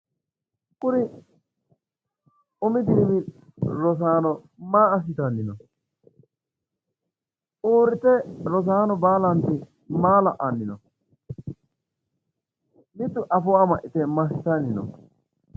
Kuri umi dirimi rosaano maa assitanni no? Uurite rosaano baalanti maa la'anni no? Mitu afoo amaxxite massitanni no?